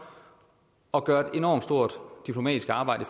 og gøre et enormt stort diplomatisk arbejde